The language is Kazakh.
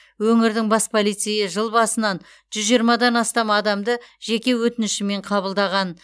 өңірдің бас полицейі жыл басынан жүз жиырмадан астам адамды жеке өтінішімен қабылдаған